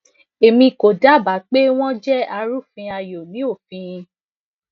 emi ko daba pe wọn jẹ arufin ayo ni ofin